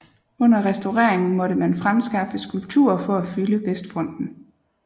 Under restaureringen måtte man fremskaffe skulpturer for at fylde vestfronten